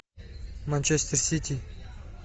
манчестер сити